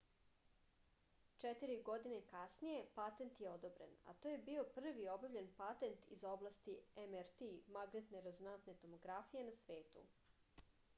четири године касније патент је одобрен а то је био први објављен патент из области mrt магнетне резонантне томографије на свету